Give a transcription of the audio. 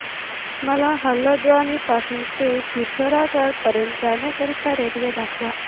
मला हलद्वानी पासून ते पिठोरागढ पर्यंत जाण्या करीता रेल्वे दाखवा